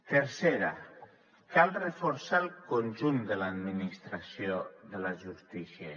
tercera cal reforçar el conjunt de l’administració de la justícia